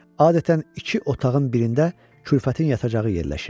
Adətən iki otağın birində kürfətin yatacağı yerləşir.